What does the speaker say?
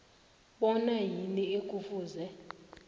bona yini ekufuze